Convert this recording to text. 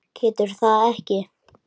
Getur þetta ekki.